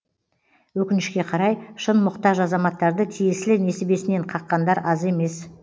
өкінішке қарай шын мұқтаж азаматтарды тиесілі несібесінен қаққандар аз емес